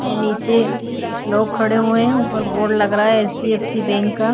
ये नीचे कुछ लोग खड़े हुए हैं उपर बोर्ड लग रहा है एच.डी.एफ.सी. बैंक का।